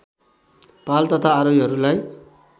पाल तथा आरोहीहरूलाई